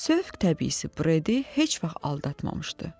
Sövq təbii Bredi heç vaxt aldatmamışdı.